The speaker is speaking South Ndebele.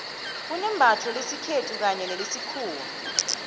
kunembatho lesikhethu kanye nelesikhuwa